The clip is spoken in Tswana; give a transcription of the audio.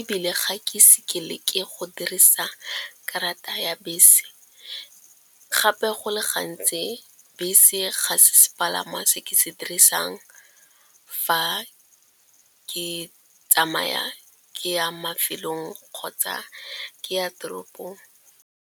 ebile ga ke seke leke go dirisa karata ya bese. Gape go le gantsi bese ga sepalangwa se ke se dirisang fa ke tsamaya ke ya mafelong kgotsa ke ya toropong.